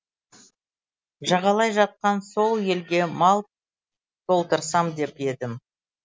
жағалай жатқан сол елге мал толтырсам деп едім